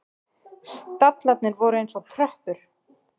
Stallarnir voru eins og tröppur.